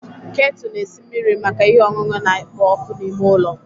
Ketu na-esi mmiri maka ihe ọṅụṅụ na-ekpo ọkụ n'ime ụlọ.